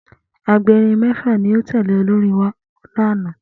Agberin mẹ́fà ni ó tẹ̀lé olórin náà wá ní àná